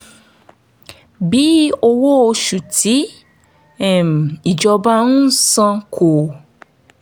bí owó oṣù tí um ìjọba ń san kò